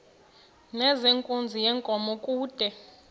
nezenkunzi yenkomo kude